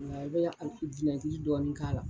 Nka i bɛ ka dɔɔni k'a la.